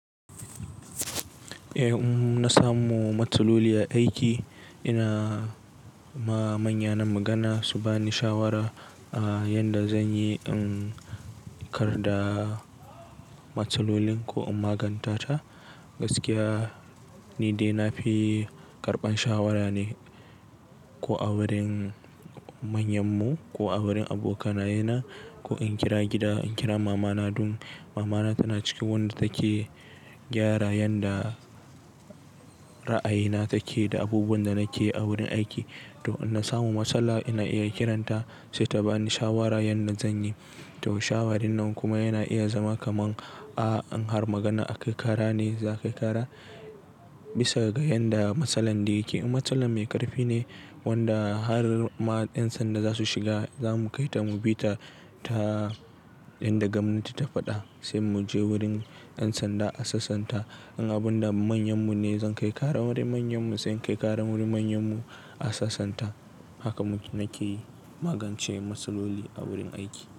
Eh, in na samu matsaloli a aiki, ina ma manya na magana su ba ni shawara a yanda zan yi in kar da matsalolin ko in maganta ta. Gaskiya, ni dai na fi karɓan shawara ne ko a wurin manyan mu ko a wurin aboka naye na ko in kira gida, in kira mamana. Dun mamana tana cikin wanda take gyara yanda ra'ayina take da abubuwan da nake a wurin aiki. To in na samu matsala ina iya kiranta sai ta ba ni shawara yanda zan yi. To shawarin nan kuma yana iya zama kaman a in har magana a kai kara ne za ka yi kara bisa ga yanda matsalolli yake. In matsalan mai ƙarfi ne wanda har ma 'yan sanda za su shiga, za mu kai ta mu bi ta, ta yanda gwamnati ta faɗa sai mu je wurin 'yan sanda a sasanta. In abun da manyan mu ne, zan kai ƙara wurin manyan mu sai in kai ƙara wurin manyan mu a sasanta. Haka mu nake magance matsaloli a wurin aiki.